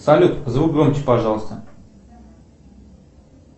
салют звук громче пожалуйста